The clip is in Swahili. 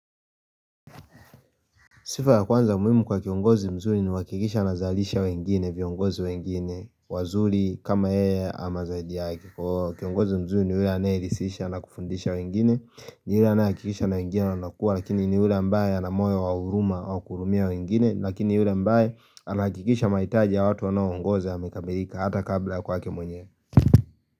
Sifa ya kwanza muhimu kwa kiongozi mzuri ni kuhakikisha anazalisha wengine viongozi wengine wazuri kama yeye ama zaidi yake. Kwa kiongozi mzuri ni ule aneirisisha na kufundisha wengine, ni ule anayehakikisha na wengine wanakuwa lakini ni ule ambaye ana moyo wa huruma au kuhurumia wengine lakini yule ambaye anahakikisha mahitaji ya watu anaoongoza yamekamerika hata kabla ya kwake mwenyewe.